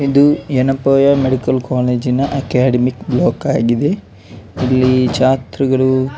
ಇದು ಯೆನಪೋಯ ಮೆಡಿಕಲ್ ಕಾಲೇಜಿನ academic block ಆಗಿದೆ ಇಲ್ಲಿ ಜಾತ್ರೆಗಳು --